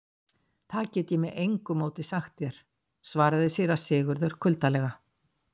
Það get ég með engu móti sagt þér, svaraði síra Sigurður kuldalega.